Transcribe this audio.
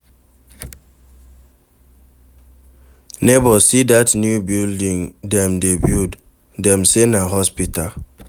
Nebor, see dat new building dem dey build, dem say na hospital.